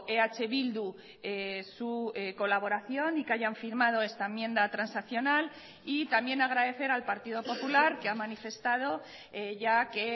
eh bildu su colaboración y que hayan firmado esta enmienda transaccional y también agradecer al partido popular que ha manifestado ya que